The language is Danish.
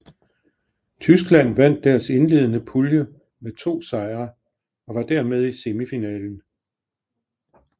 Tyskland vandt deres indledende pulje med to sejre og var dermed i semifinalen